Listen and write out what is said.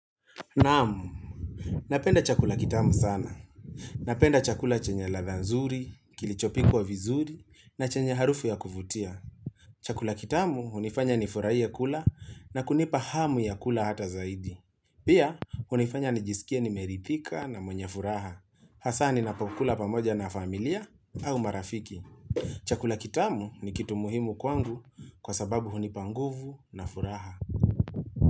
Naam napenda chakula kitamu sana. Napenda chakula chenye ladha nzuri, kilichopikwa vizuri, na chenye harufu ya kuvutia. Chakula kitamu unifanya nifurahie kula na kunipa hamu ya kula hata zaidi. Pia, unifanya nijisikie nimeridhika na mwenye furaha. Hasa ninapakula pamoja na familia au marafiki. Chakula kitamu ni kitu muhimu kwangu kwa sababu unipa nguvu na furaha.